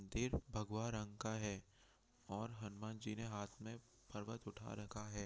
दिर भगवा रंग का है और हनुमान जी ने हाथ में पर्वत उठा रखा है।